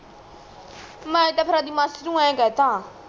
ਮੈਂ ਤਾ ਆ ਫੇਰ ਅਜ ਮਾਸੀ ਨੂੰ ਏਹ ਕੇਹ ਤਾ